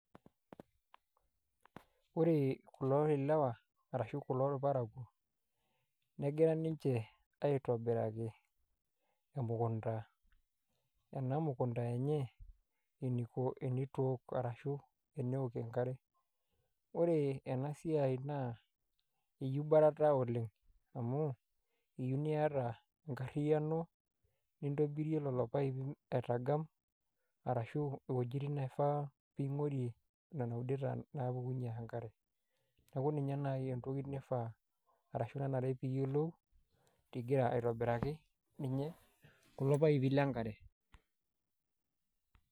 Ore kulo lewa ashu kulo parakuo negira nche aitobiraki emukunda, enamukunda enye eniko tenitook ashu tenisho enkare ,ore enasia na eyieu barata oleng amu ore enasiai naakeeta enkariano nintobirie lolo paipi nigam ashu wuejitin naifaa ningurie nona udeta napukunge enkare, neaku ninye nai entoki naifaa ashu ninare piyiolou engira aitobiraki ninye kulo paipi lenkare.